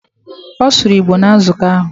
Ọ sụrụ Igbo na nzukọ ahụ.